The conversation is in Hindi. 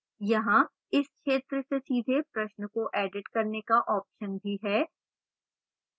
यहां इस क्षेत्र से सीधे प्रश्न को edit करने का option भी है